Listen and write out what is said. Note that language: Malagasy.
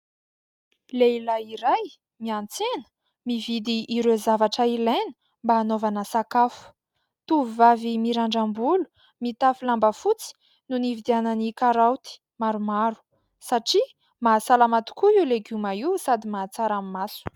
Lehilahy iray miantsena, mividy ireo zavatra ilaina mba anaovana sakafo. Tovovavy mirandram-bolo, mitafy lamba fotsy no nividianany karoty maromaro, satria mahasalama tokoa io legioma io, sady mahatsara ny maso.